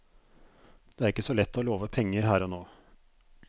Det er ikke så lett å love penger her og nå.